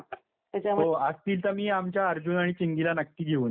हो असतील तर मी आमच्या अर्जुन आणि चिंगीला नक्की घेऊन येईन त्या शिबिराला.